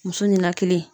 Muso ninakili